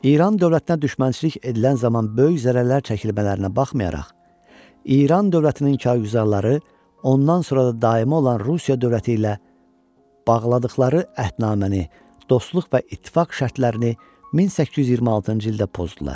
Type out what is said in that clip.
İran dövlətinə düşmənçilik edilən zaman böyük zərərlər çəkilmələrinə baxmayaraq, İran dövlətinin kargüzarları ondan sonra da daimi olan Rusiya dövləti ilə bağladıqları əhdnaməni dostluq və ittifaq şərtlərini 1826-cı ildə pozdular.